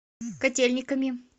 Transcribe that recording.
котельниками